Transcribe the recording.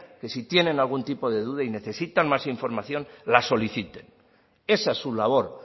que si tienen algún tipo de duda y necesitan más información la soliciten esa es su labor